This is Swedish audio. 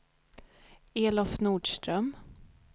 Elof Nordström